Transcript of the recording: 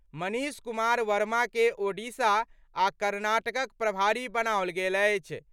मनीष कुमार वमाकें ओडिशा आ कर्नाटकक प्रभारी बनाओल गेल अछि।